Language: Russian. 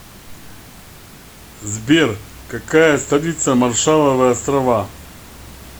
сбер какая столица маршалловы острова